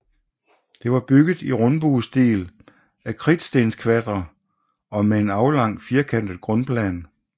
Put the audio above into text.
Det var bygget i rundbuestil af kridtstenskvadre og med en aflang firkantet grundplan